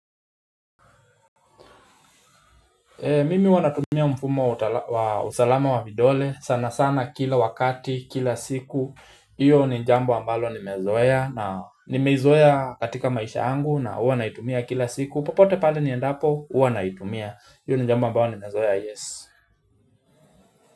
Mimi huwa natumia mfumo wa usalama wa vidole, sana sana kila wakati, kila siku, iyo ni jambo ambalo nimezoea, nimezoea katika maisha yangu na huwa naitumia kila siku, popote pale ni endapo, huwa naitumia, iyo ni jambo ambalo nimezoea yes.